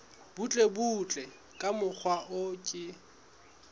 butlebutle ka mokgwa o ke